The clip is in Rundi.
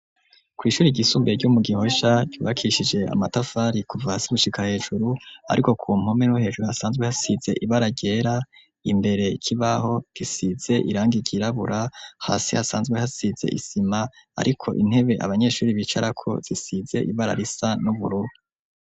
Kwishuri ry'isumbuye ryo mu Gihosha rubakishije amatafari kuva hasi gushika hejuru ariko ku mpome n'uhejuru hasanzwe hasize ibara ryera imbere kibaho gisize irangi ryirabura hasi hasanzwe hasize isima ariko intebe abanyeshuri bicara ko zisize ibara risa n'ubururu.